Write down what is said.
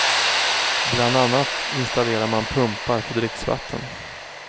Bland annat installerar man pumpar för dricksvatten.